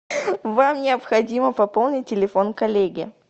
вам необходимо пополнить телефон коллеги